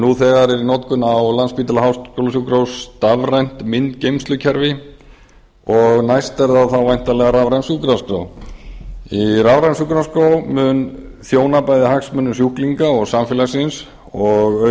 nú þegar er í notkun á landspítala háskólasjúkrahúsi stafrænt myndgeymslukerfi og næst er það þá væntanlega rafræn sjúkraskrá rafræn sjúkraskrá mun þjóna bæði hagsmunum sjúklinga og samfélagsins og